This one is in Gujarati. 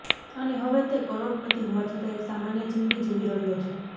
અને હવે તે કરોડપતી હોવા છતા એક સામાન્ય જીંદગી જીવી રહ્યો છે